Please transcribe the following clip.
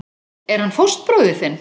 Er hann fóstbróðir þinn?